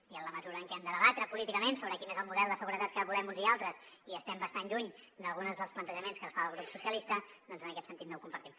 i en la mesura en què hem de debatre políticament sobre quin és el model de seguretat que volem uns i altres i estem bastant lluny d’alguns dels plantejaments que ens fa el grup socialistes doncs en aquest sentit no ho compartim